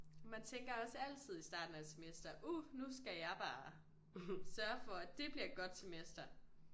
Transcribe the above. Man tænker også altid i starten af et semester uh nu skal jeg bare sørge for at det bliver et godt semester